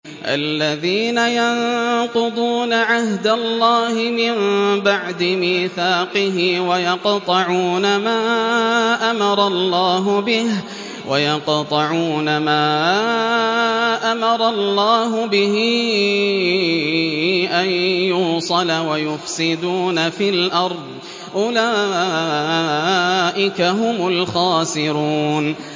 الَّذِينَ يَنقُضُونَ عَهْدَ اللَّهِ مِن بَعْدِ مِيثَاقِهِ وَيَقْطَعُونَ مَا أَمَرَ اللَّهُ بِهِ أَن يُوصَلَ وَيُفْسِدُونَ فِي الْأَرْضِ ۚ أُولَٰئِكَ هُمُ الْخَاسِرُونَ